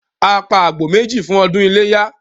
A pa àgbò méjì fún ọdún iléyá